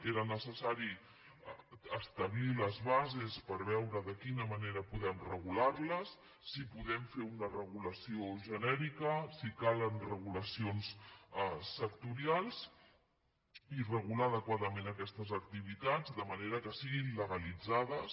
era necessari establir les bases per veure de quina manera podem regular les si podem fer una regulació genèrica si calen regulacions sectorials i regu lar adequadament aquestes activitats de manera que siguin legalitzades